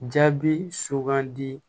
Jaabi sugandi